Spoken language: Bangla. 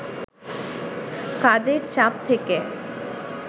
কাজের চাপ থেকে